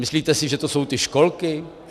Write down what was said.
Myslíte si, že to jsou ty školky?